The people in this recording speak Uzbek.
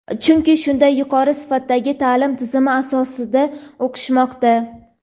chunki shunday yuqori sifatdagi ta’lim tizimi asosida o‘qishmoqda.